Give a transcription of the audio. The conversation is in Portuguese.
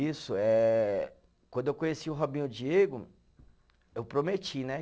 Isso, é. Quando eu conheci o Robinho e o Diego, eu prometi, né?